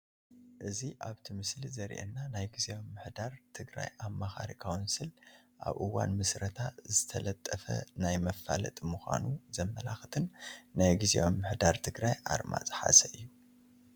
እዚ ኣብቲ ምስሊ ዘሪኤና ናይ ጊዚያዊ ምምሕዳር ትግራይ ኣማኻሪ ካውንስል ኣብ እዋን ምስረታ ዝተለጠፈ ናይ መፋለጢ ምዃኑ ዘመላኽትን ናይ ግምት ኣርማ ዝሓዘ እዩ፡፡